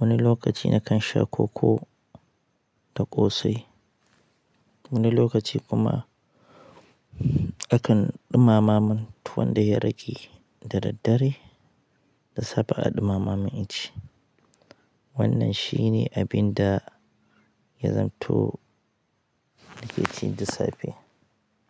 wani lokaci na kan sha koko da ƙosai. Wani lokaci kuma a kan ɗumama mun tuwon da ya rage da daddare, da safe a ɗumama mun inci. Wannan shi ne abin da ya zamto na ke ci da safe.